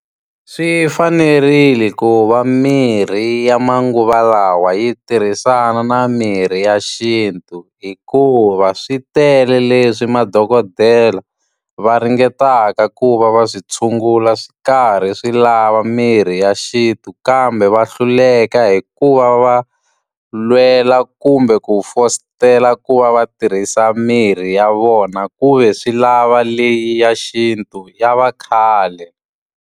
Swi fanerile ku va mirhi ya manguva lawa yi tirhisana na mirhi ya xintu, hikuva swi tele leswi madokodela va ringetaka ku va va swi tshungula swi karhi swi lava mirhi ya xintu. Kambe va hluleka hikuva va lwela kumbe ku fositela ku va va tirhisa mirhi ya vona ku ve swi lava leyi ya xintu, ya vakhale.